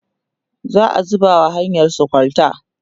za'a zuba wa hanyarsu kwalta